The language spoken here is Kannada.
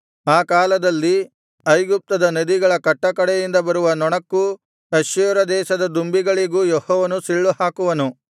ಆ ಕಾಲದಲ್ಲಿ ಐಗುಪ್ತದ ನದಿಗಳ ಕಟ್ಟಕಡೆಯಿಂದ ಬರುವ ನೊಣಕ್ಕೂ ಅಶ್ಶೂರ ದೇಶದ ದುಂಬಿಗಳಿಗೂ ಯೆಹೋವನು ಸಿಳ್ಳುಹಾಕುವನು